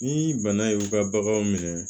Ni bana y'u ka baganw minɛ